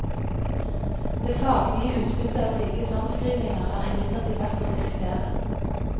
Det faglige utbyttet av slike fremskrivninger er imidlertid verdt å diskutere.